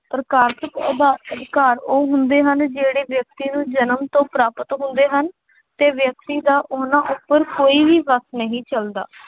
ਪ੍ਰਕਾਸ਼ਿਕ ਆਧਾਰ ਅਧਿਕਾਰ ਉਹ ਹੁੰਦੇ ਜਿਹੜੇ ਵਿਅਕਤੀ ਨੂੰ ਜਨਮ ਤੋਂ ਪ੍ਰਾਪਤ ਹੁੰਦੇ ਹਨ ਅਤੇ ਵਿਅਕਤੀ ਦਾ ਉਹਨਾ ਉੱਪਰ ਕੋਈ ਵੀ ਵੱਸ ਨਹੀਂ ਚੱਲਦਾ।